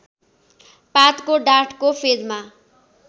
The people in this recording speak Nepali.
पातको डाँठको फेदमा